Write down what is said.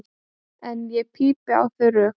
En ég pípi á þau rök.